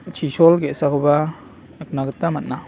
chisol ge·sakoba nikna gita man·a.